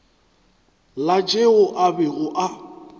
la tšeo a bego a